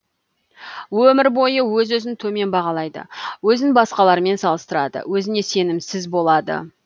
өмір бойы өз өзін төмен бағалайды өзін басқалармен салыстырады өзіне сенімсіз болады